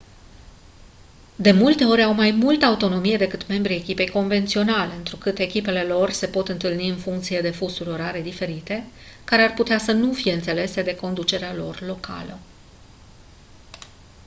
de multe ori au mai multă autonomie decât membrii echipei convenționale întrucât echipele lor se pot întâlni în funcție de fusuri orare diferite care ar putea să nu fie înțelese de conducerea lor locală